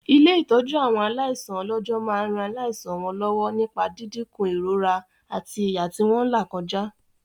Ilé-ìtọ́jú àwọn aláìsàn ọlọ́jọ́ máa ran láìsàn wọn lọ́wọ́ nípa dídínkù ìrora àti ìyà tí wọ́n làkọjá.